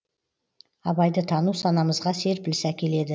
абайды тану санамызға серпіліс әкеледі